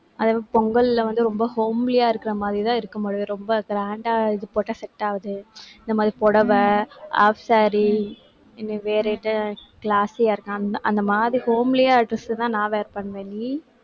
அதுவும் பொங்கல்ல வந்து ரொம்ப homely ஆ இருக்கிற மாதிரிதான் இருக்கும் பொழுது, ரொம்ப grand ஆ, இது போட்டா, set ஆகாது. இந்த மாதிரி புடவை, half saree இந்த வேற எது classy யா இருக்~ அந்த அந்த மாதிரி homely ஆ dress தான் நான் wear பண்ணுவேன் நீ.